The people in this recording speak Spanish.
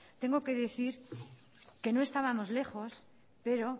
tengo que decir que no estábamos lejos pero